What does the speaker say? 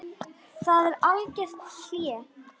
Hvað er algert hlé?